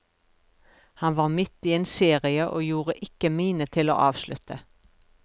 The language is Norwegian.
Han var midt i en serie og gjorde ikke mine til å avslutte.